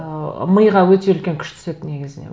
ы миға өте үлкен күш түседі негізіне